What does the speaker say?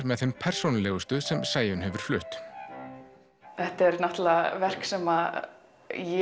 með þeim persónulegustu sem Sæunn hefur flutt þetta eru verk sem ég